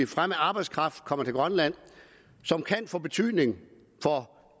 fremmed arbejdskraft kommer til grønland som kan få betydning for